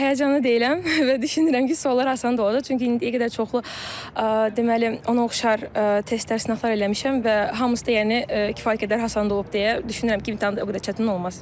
Həyəcanlı deyiləm və düşünürəm ki, suallar asan olacaq, çünki indiyə qədər çoxlu deməli, ona oxşar testlər, sınaqlar eləmişəm və hamısı da yəni kifayət qədər asan olub deyə düşünürəm ki, imtahan da o qədər çətin olmaz.